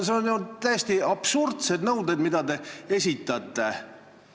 Need on ju täiesti absurdsed nõuded, mida te esitate.